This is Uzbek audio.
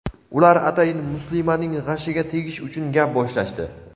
Ular atayin muslimaning g‘ashiga tegish uchun gap boshlashdi.